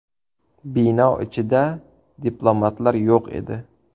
Bino ichida diplomatlar yo‘q edi.